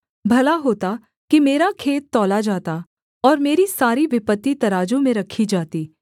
भला होता कि मेरा खेद तौला जाता और मेरी सारी विपत्ति तराजू में रखी जाती